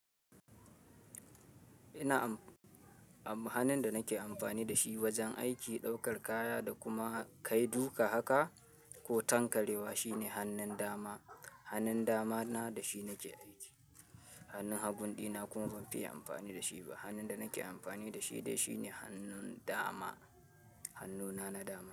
Ina am-- hannun da nake amfani da shi wajen aiki, ɗaukar kaya da kuma ka duƙa haka ko tankarewa shine hannun dama. Hannun dama na da shi nake aiki. Hannun haguɗina kuma ban fi yi amfani da shi ba. Hannun da nake amfani da shi dai shi ne hannun dama, hannuna na dama.